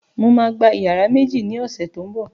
Mo má gba yàrá méjì ni ọ̀sẹ̀ tó ń bọ̀